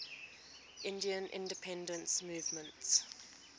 indian independence movement